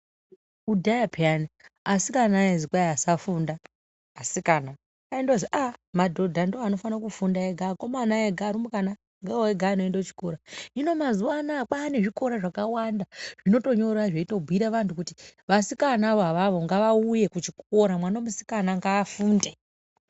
Kudhaya pheyani asikana aizi kwai asafunda asikana aindozi aaah! madhodha ndoanofana kufunda ega akomana ega arumbwana ndiyo ega anoenda kuchikora, hino mazuwaanaya kwaane zvikora zvakawanda zvinotonyora zveitobhuira vantu kuti vasikanavo avavo ngavauye kuchikora mwana musikana ngaafunde.